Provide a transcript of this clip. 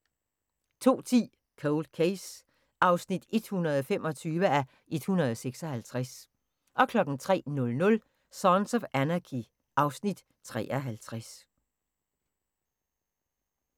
02:10: Cold Case (125:156) 03:00: Sons of Anarchy (Afs. 53)